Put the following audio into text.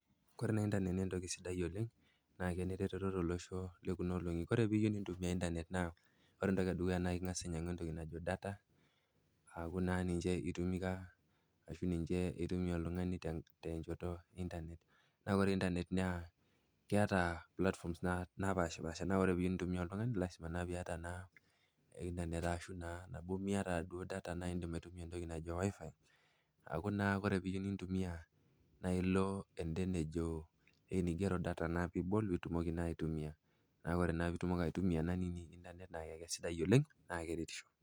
Koore internet naa kentoki etipat oleng naa keneretoto tolosho lekuuna olong'i. Oore teniyieu nintumia internet naa ing'asa ainyiang'u entoki naajo data, aaku naa ninche iasishore oltung'ani tenchoto e internet. Na oore[cs[internrt naa keeta platforms napaashipasha. Naa tenemiata oltung'ani internet arashu data naa iidim aitunia entoki niijo WIFI naa ore naa teniyieu nintumia naa ibol naa keretisho.